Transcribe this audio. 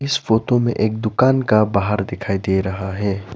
इस फोटो में एक दुकान का बाहर दिखाई दे रहा है।